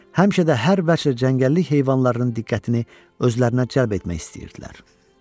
Həmişə də hər vəchi cəngəllik heyvanlarının diqqətini özlərinə cəlb etmək istəyirdilər.